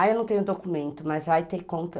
Aí eu não tenho documento, mas vai ter conta.